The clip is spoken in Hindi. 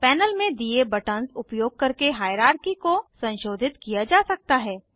पैनल में दिए बटन्स उपयोग करके हाइरार्की को संशोधित किया जा सकता है